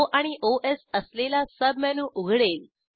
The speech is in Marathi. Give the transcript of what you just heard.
ओ आणि ओएस असलेला सबमेनू उघडेल